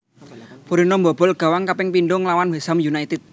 Borinio mbobol gawang kaping pindho nglawan West Ham United